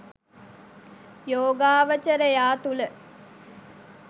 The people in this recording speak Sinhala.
යෝගාවචරයා තුළ